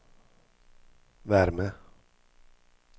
värme